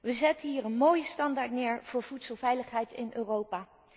We zetten hier een mooie standaard neer voor voedselveiligheid in Europa.